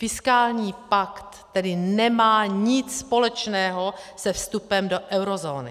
Fiskální pakt tedy nemá nic společného se vstupem do eurozóny.